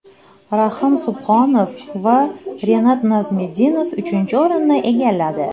Rahim Subhonov va Renat Nazmetdinov uchinchi o‘rinni egalladi.